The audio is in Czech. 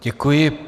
Děkuji.